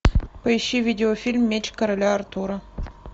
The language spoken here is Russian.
поищи видеофильм меч короля артура